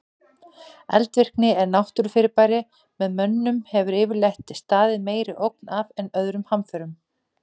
Eldvirkni er náttúrufyrirbæri sem mönnum hefur yfirleitt staðið meiri ógn af en öðrum hamförum.